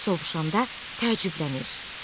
O sovuşanda təəccüblənir.